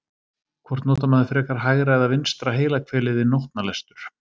Hvort notar maður frekar hægra eða vinstra heilahvelið við nótnalestur?